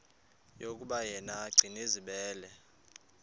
yokuba yena gcinizibele